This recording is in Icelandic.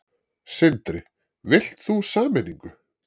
Sindri: Vilt þú sameiningu?